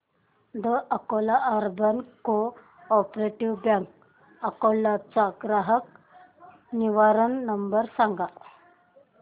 the Akola urban cooperative bank Akola चा ग्राहक निवारण नंबर सांग